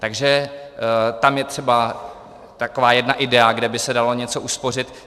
Takže tam je třeba taková jedna idea, kde by se dalo něco uspořit.